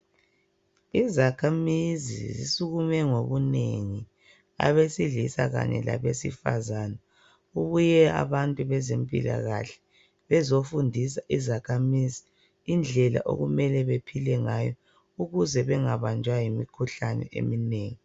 Izakhamizi zisukume ngobunengi abesilisa kanye labesifazane. Kubuye abantu bezempilakahle bezofundisa izakhamizi indlela okumele bephile ngayo ukuze bengabanjwa yimikhuhlane eminengi.